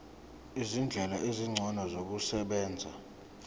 izindlela ezingcono zokusebenza